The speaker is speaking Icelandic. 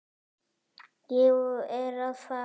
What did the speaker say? Ég er að fara.